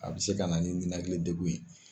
A bɛ se ka na ni ninakili degun ye